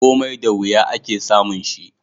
Komai da wuya, ake samun shi